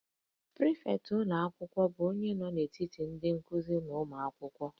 Prịfektị ụlọ akwụkwọ bụ onye nọ n'etiti ndị nkuzi na ụmụ akwụkwọ